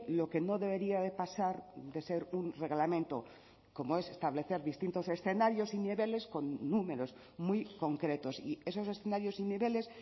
lo que no debería de pasar de ser un reglamento como es establecer distintos escenarios y niveles con números muy concretos y esos escenarios y niveles